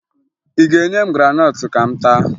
Ị ga-enye m graanọtụ ka m taa